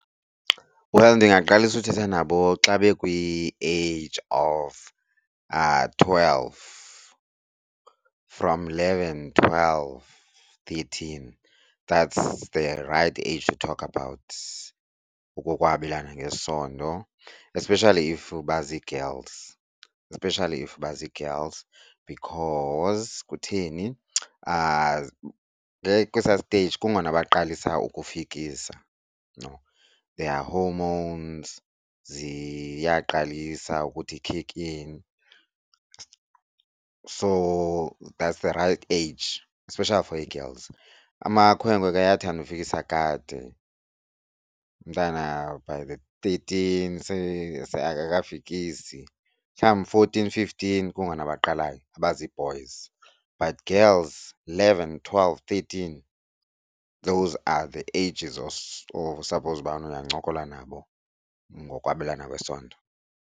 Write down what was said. Well, ndingaqalisa uthetha nabo xa bekwi-age of twelve from, leven twelve thirteen that's the right age to talk about okokwabelana ngesondo, especially if bazi-girls. Especially if bazi-girls because kutheni? Kwesaa stage kungona baqalisa ukukufikisa, you know, their hormones ziyaqalisa ukuthi kick in. So that's the right age especially for ii-girls. Amakhwenkwe ke ayathanda ufikisa kade umntana by the thirteen akakakafikisi. Mhlawumbi fourteen fifteen kungona baqalayo abazi-boys but girls eleven twelve thirteen those are the ages osaphowuza ubana uyancokola nabo ngokwabelana kwesondo.